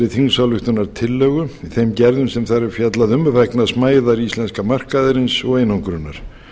þessarara þingsályktunartillögu þeim gerðum sem þar er fjallað um vegna smæðar íslenska markaðarins og einangrunar